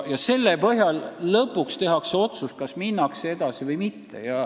Ning selle põhjal lõpuks tehakse otsus, kas minnakse edasi või mitte.